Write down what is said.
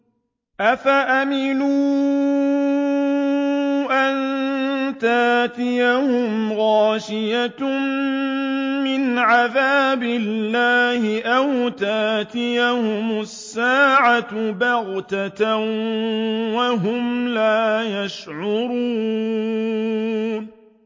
أَفَأَمِنُوا أَن تَأْتِيَهُمْ غَاشِيَةٌ مِّنْ عَذَابِ اللَّهِ أَوْ تَأْتِيَهُمُ السَّاعَةُ بَغْتَةً وَهُمْ لَا يَشْعُرُونَ